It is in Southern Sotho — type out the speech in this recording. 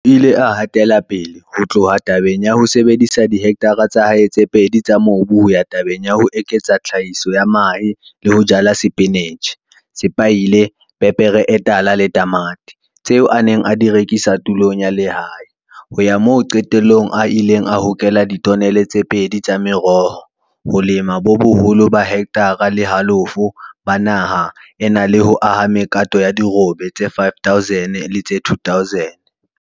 O ile a hatela pele ho tloha tabeng ya ho sebedisa dihe ktare tsa hae tse pedi tsa mobu ho ya tabeng ya ho eketsa tlhahiso ya mahe le ho jala sepinitjhe, sepaile, pepere e tala le tamati, tseo a neng a di rekisa tulong ya lehae, ho ya moo qetellong a ileng a hokela ditonele tse pedi tsa meroho, ho lema bo holo ba heketare le halofo ba naha ena le ho aha mekato ya dirobe tse 5 000 le tse 2 000.